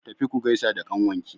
Tafi ku gaisa da ƙnawanki!